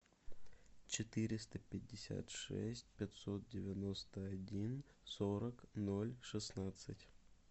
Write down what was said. четыреста пятьдесят шесть пятьсот девяносто один сорок ноль шестнадцать